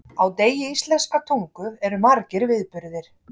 Á degi íslenskrar tungu eru margir viðburðir.